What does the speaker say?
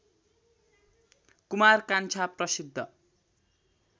कुमार कान्छा प्रसिद्ध